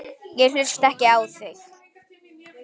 Ég hlusta ekki á þig!